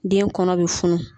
Den kɔnɔ bɛ funu.